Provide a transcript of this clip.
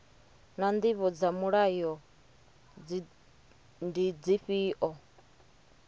naa ndivho dza mulayo ndi dzifhio